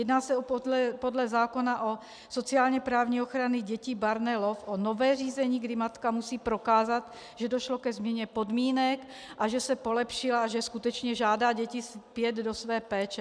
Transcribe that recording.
Jedná se podle zákona o sociálně-právní ochraně dětí barneloven o nové řízení, kdy matka musí prokázat, že došlo ke změně podmínek a že se polepšila a že skutečně žádá děti zpět do své péče.